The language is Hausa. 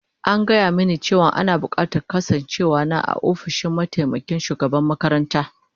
An gaya mini cewa ana bukatar kasancewar na a ofishin mataimakin shugaban makaranta